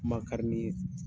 Makari n'i ye.